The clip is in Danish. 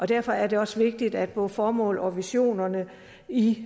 derfor er det også vigtigt at både formål og visioner i